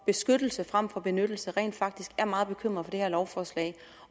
beskyttelse frem for benyttelse rent faktisk er meget bekymrede for det her lovforslag